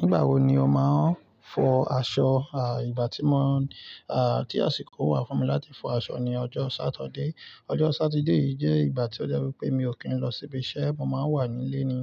Nígbà wo ni o máa ń fọ aṣọ? Ìgbà tí àsìkò wà fún mi láti fọ aṣọ ni ọjọ́ Saturday. Ọjọ́ Satide yii jẹ́ ìgbà tí ó jẹ́ wípé mi ò kí ń lọ síbi iṣẹ́, mo máa ń wà nílé ni.